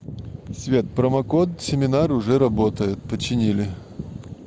света промокод семинар уже работает починили